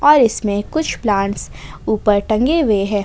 और इसमें कुछ प्लांटस ऊपर टंगे हुए है।